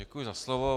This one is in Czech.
Děkuji za slovo.